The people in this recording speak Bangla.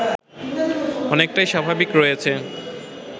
অনেকটাই স্বাভাবিক রয়েছে